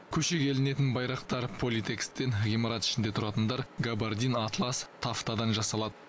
көшеге ілінетін байрақтар политэкстен ғимарат ішінде тұратындар габардин атлас тафтадан жасалады